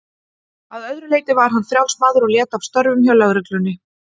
Að öðru leyti var hann frjáls maður og lét af störfum hjá lögreglunni.